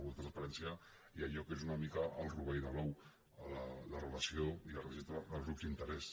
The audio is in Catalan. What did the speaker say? la transparència i allò que és una mica el rovell de l’ou la relació i el registre dels grups d’interès